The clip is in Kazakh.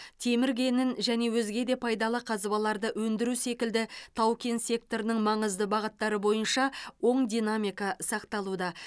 темір кенін және өзге де пайдалы қазбаларды өндіру секілді тау кен секторының маңызды бағыттары бойынша оң динамика сақталуда